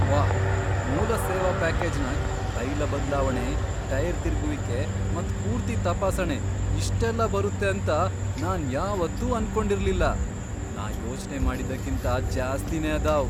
ವಾಹ್, ಮೂಲ ಸೇವಾ ಪ್ಯಾಕೇಜನಾಗ್ ತೈಲ ಬದ್ಲಾವಣೆ, ಟೈರ್ ತಿರ್ಗುವಿಕೆ ಮತ್ ಪೂರ್ತಿ ತಪಾಸಣೆ ಇಷ್ಟೆಲ್ಲಾ ಬರುತ್ತೆ ಅಂತ ನಾನ್ ಯಾವತ್ತೂ ಅನ್ಕೊಂಡಿರಲಿಲ್ಲ ನಾ ಯೋಚನೆ ಮಾಡಿದ್ದಕ್ಕಿಂತ ಜ್ಯಾಸ್ತಿನೆ ಅದಾವ್ !